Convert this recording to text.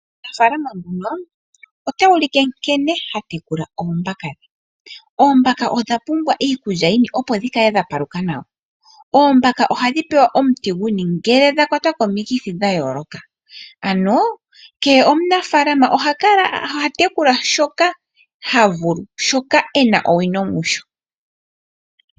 Omunafaalama nguno ota ulike nkene ha tekula oombaka dhe. Oombaka odha pumbwa iikulya, opo dhi kale dha paluka nawa. Oombaka ohadhi pewa omuti guni ngele dha kwatwa komikithi dha yooloka, ano kehe omunafaalama oha tekula shoka ha vulu, shoka e na owino musho.